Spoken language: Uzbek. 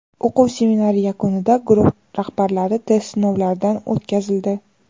O‘quv seminari yakunida guruh rahbarlari test sinovlaridan o‘tkazildi.